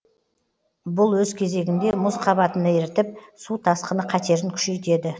бұл өз кезегінде мұз қабатын ерітіп су тасқыны қатерін күшейтеді